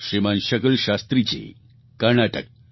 શ્રીમાન શકલ શાસ્ત્રીજી કર્ણાટક